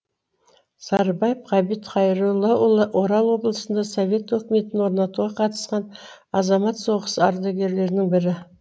сарыбаев ғабит хайроллаұлы орал облысында совет өкіметін орнатуға қатысқан азамат соғысы ардагерлерінің бірі